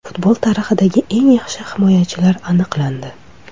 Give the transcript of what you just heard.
Futbol tarixidagi eng yaxshi himoyachilar aniqlandi.